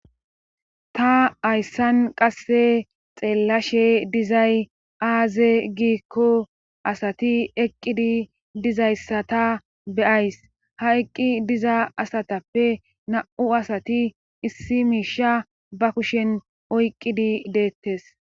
Ta hayssan qasse xeelashe dizay aazee giiko asati eqidi dizayssata be'ays. ha eqqi diza asatappe na'u asati issi miisha ba kushen oyqidi detees.